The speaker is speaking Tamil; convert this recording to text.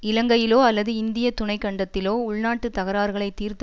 இலங்கையிலோ அல்லது இந்திய துணைக்கண்டத்திலோ உள்நாட்டு தகராறுகளை தீர்த்து